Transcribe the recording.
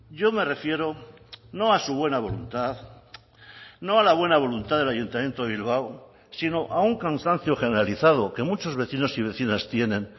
yo me refiero no a su buena voluntad no a la buena voluntad del ayuntamiento de bilbao sino a un cansancio generalizado que muchos vecinos y vecinas tienen